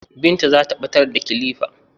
Bintu zata ɓatar da kilifa